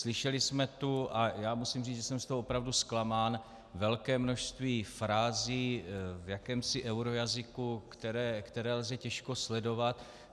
Slyšeli jsme tu, a já musím říct, že jsem z toho opravdu zklamán, velké množství frází v jakémsi eurojazyku, které lze těžko sledovat.